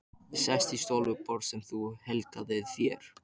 Ég sest í stól við borð sem þú helgaðir þér.